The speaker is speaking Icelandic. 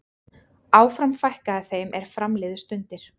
Áfram fækkaði þeim er fram liðu stundir.